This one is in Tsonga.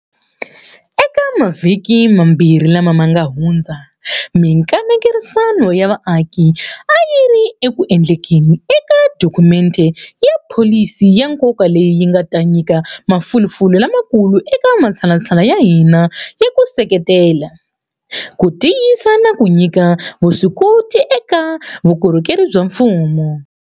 Eka mavhiki mambirhi lama nga hundza, mikanerisano ya vaaki a yi ri ku endlekeni eka dokhumente ya pholisi ya nkoka leyi yi nga ta nyika mafulufulu lamakulu eka matshalatshala ya hina ya ku seketela, ku tiyisa na ku nyika vuswikoti eka vukorhokeri bya mfumo.